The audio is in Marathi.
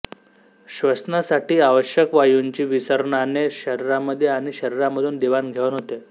श्वसनासाठी आवश्यक वायूंची विसरणाने शरीरामध्ये आणि शरीरामधून देवाण घेवाण होते